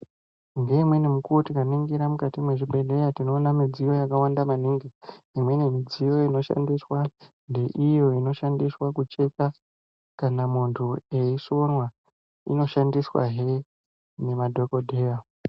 Ngeimweni mukuwo tikaningira mukati mwezvibhehleya tinoona midziyo yakawanda maningi. Imweni midziyo inoshandiswa ndeiyo inoshandiswa kucheka kana muntu eisonwa. Inoshandiswahe nemadhokodheya.